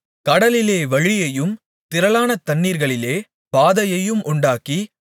கடலிலே வழியையும் திரளான தண்ணீர்களிலே பாதையையும் உண்டாக்கி